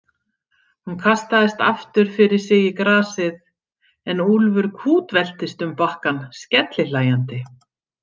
Hún kastaðist aftur fyrir sig í grasið en Úlfur kútveltist um bakkann skellihlæjandi.